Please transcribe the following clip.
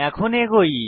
এখন এগোই